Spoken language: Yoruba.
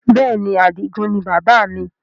Bẹ́ẹ̀ni, Adigun ni bàbá mi